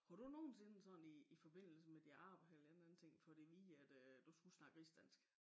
Kunne du nogensinde sådan i i forbindelse med dit arbejde eller en eller anden ting fået at vide at du skulle snakke rigsdansk